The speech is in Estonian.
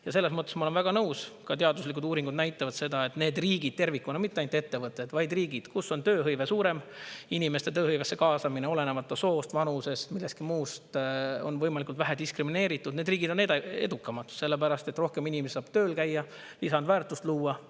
Ja selles mõttes ma olen väga nõus: ka teaduslikud uuringud näitavad seda, et need riigid tervikuna – mitte ainult ettevõtted, vaid riigid –, kus on tööhõive suurem, inimeste tööhõivesse kaasamine, olenemata soost, vanusest, millestki muust, on võimalikult vähe diskrimineeritud, need riigid on edukamad, sellepärast et rohkem inimesi saab tööl käia, lisandväärtust luua.